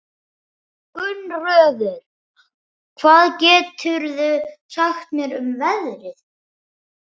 Gunnröður, hvað geturðu sagt mér um veðrið?